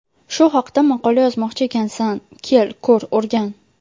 Shu haqda maqola yozmoqchi ekansan, kel, ko‘r o‘rgan.